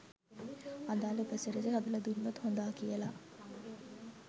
අදාළ උපසිරසි හදල දුන්නොත් හොඳා කියලා